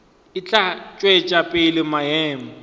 e tla tšwetša pele maemo